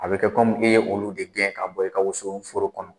A bɛ kɛ i ye olu de gɛn ka bɔ i ka woso foro kɔnɔ.